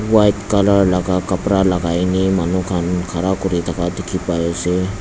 white color laga kapra lagai na manu khan khara kuri thaka dikhi pai ase.